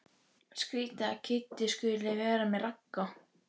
Skrýtið að Kiddi skuli vera með Ragga.